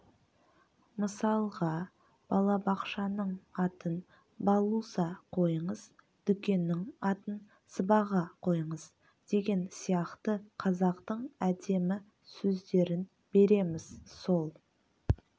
мысалға балабақшаның атын балуса қойыңыз дүкеннің атын сыбаға қойыңыз деген сияқты қазақтың әдемі сөздерін береміз сол